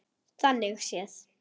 Þannig séð.